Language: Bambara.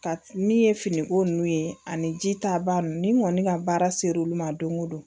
Ka ni ye finiko ninnu ye ani ji ta ba ninnu ni kɔni ka baara ser'olu ma don o don